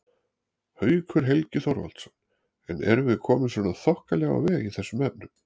Haukur Helgi Þorvaldsson: En erum við komin svona þokkalega á veg í þessum efnum?